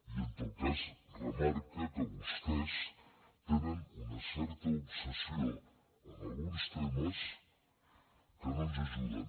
i en tot cas remarca que vostès tenen una certa obsessió en alguns temes que no ens ajuden